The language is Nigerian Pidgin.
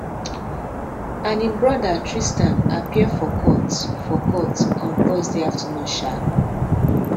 and im brother tristan appear for court for court on thursday afternoon um